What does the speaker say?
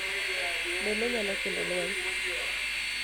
Bende nyalo kelo lweny,